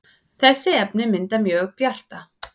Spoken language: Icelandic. þessi efni mynda mjög bjarta